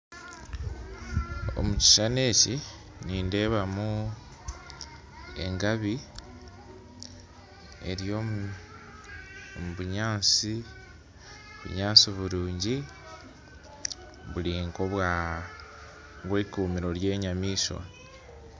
Omukishushani eki nindeebamu engabi ery'omubunyansi, obunyansi burungi buri nk'obwikumiro ry'enyamaishwa.